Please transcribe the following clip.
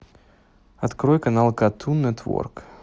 открой канал картун нетворк